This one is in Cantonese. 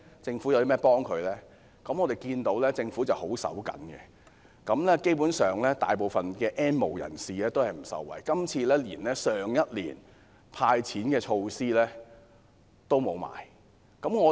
政府十分吝嗇，今年的財算案基本上未能令大部分 "N 無人士"受惠，連去年的"派錢"措施也沒有。